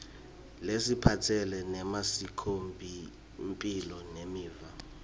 laphatselene nemasikomphilo nemiva